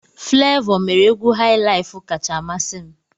Flevoo mere egwu highlife kacha amasị m.